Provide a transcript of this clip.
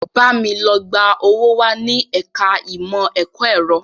Bámi lọ gba owó wá ní ẹ̀ka ìmọ̀ ẹ̀kọ́ ẹ̀rọ!